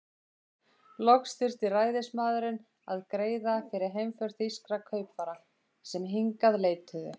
Loks þurfti ræðismaðurinn að greiða fyrir heimför þýskra kaupfara, sem hingað leituðu.